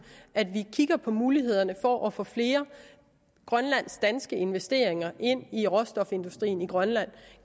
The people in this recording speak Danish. at vi kigger på mulighederne for at få flere grønlandsk danske investeringer ind i råstofindustrien i grønland